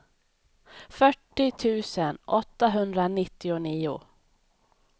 fyrtio tusen åttahundranittionio